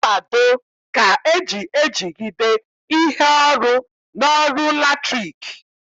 Mkpado ka eji ejigide ihe ọrụ n'ọrụ latriki